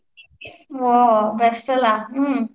ಹ್ಮ್ best ಅಲಾ ಹ್ಮ್.